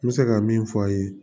N bɛ se ka min f'a ye